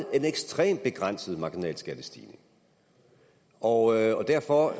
er en ekstremt begrænset marginalskattestigning og derfor